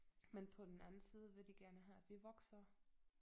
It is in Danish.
Men på den anden side vil de gerne have at vi vokser